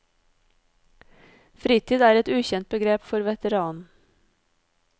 Fritid er et ukjent begrep for veteranen.